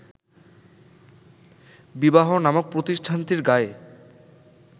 বিবাহ নামক প্রতিষ্ঠানটির গায়ে